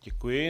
Děkuji.